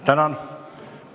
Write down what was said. Tänan!